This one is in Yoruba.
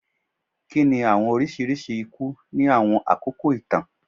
Kini awọn oriṣiriṣi iku ni awọn akoko itan?